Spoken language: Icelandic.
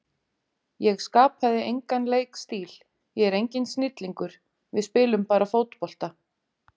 Ég skapaði engan leikstíl, ég er enginn snillingur, við spilum bara fótbolta.